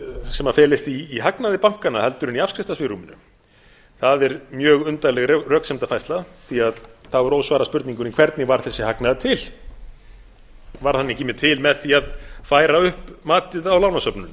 sem felist í hagnaði bankanna heldur en í afskriftasvigrúminu það er mjög undarleg röksemdafærsla því að þá er ósvarað spurningunni hvernig varð þessi hagnaður til varð hann ekki til með því að færa upp matið á lánasöfnunum